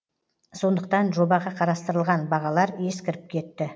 сондықтан жобаға қарастырылған бағалар ескіріп кетті